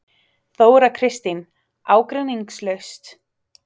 Þóra Kristín: Ágreiningslaust?